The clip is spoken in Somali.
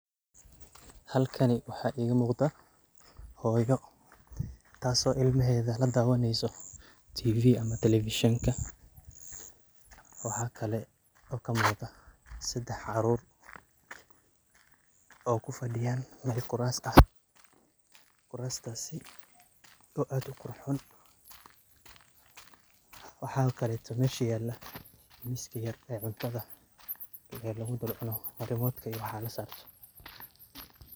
Halkani waxaa iga muqdha hoyo tas oo ilmahedha ladawaneysa tv ama televishenka. Waxaa kale oo kamuqdah sedax carur oo kufadiyan kurasta. Kurastasi oo ad uqurxon , waxa kaleto mesha yalah miski yar oo cuntadha lagudhul cuno, rimotka iyo waxaa lasarto.